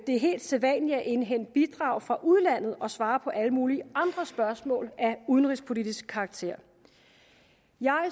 er helt sædvanligt at indhente bidrag fra udlandet og svare på alle mulige andre spørgsmål af udenrigspolitisk karakter jeg